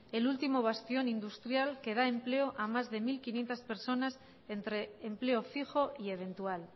el último bastión industrial que da empleo a más de mil quinientos personas entre empleo fijo y eventual